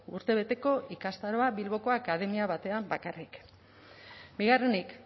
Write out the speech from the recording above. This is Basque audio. urtebeteko ikastaroa bilboko akademia batean bakarrik bigarrenik